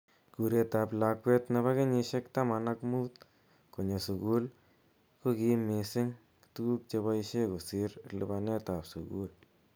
Kuret ab lakwet nebo kenyeshek taman ak mut konyoo sukul ko kim mising tukuk cheboishe kosir lipanet ab sukul.